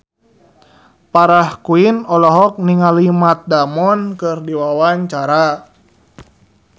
Farah Quinn olohok ningali Matt Damon keur diwawancara